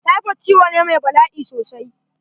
Typhoid ciwo ne mai bala'i sosai.